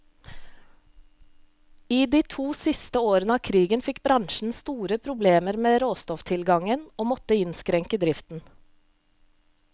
I de to siste årene av krigen fikk bransjen store problemer med råstofftilgangen, og måtte innskrenke driften.